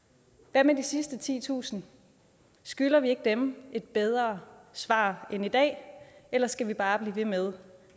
hvad med de sidste titusind skylder vi ikke dem et bedre svar end i dag eller skal vi bare blive ved med